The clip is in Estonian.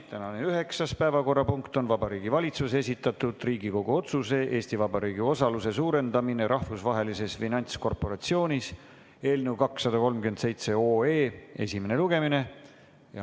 Tänane üheksas päevakorrapunkt on Vabariigi Valitsuse esitatud Riigikogu otsuse "Eesti Vabariigi osaluse suurendamine Rahvusvahelises Finantskorporatsioonis" eelnõu 237 esimene lugemine.